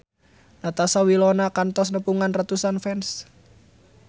Natasha Wilona kantos nepungan ratusan fans